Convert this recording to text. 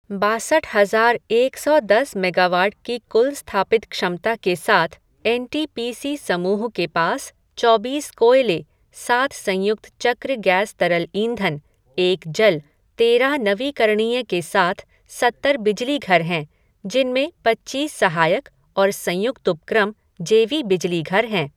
बासठ हजार एक सौ दस मेगावाट की कुल स्थापित क्षमता के साथ एन टी पी सी समूह के पास चौबीस कोयले, सात संयुक्त चक्र गैस तरल ईंधन, एक जल, तेरह नवीकरणीय के साथ सत्तर बिजली घर हैं, जिनमें पच्चीस सहायक और संयुक्त उपक्रम जे वी बिजली घर हैं।